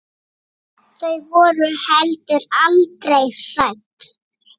Þau voru heldur aldrei hrædd.